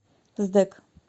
сдэк